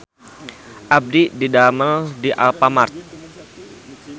Abdi didamel di Alfamart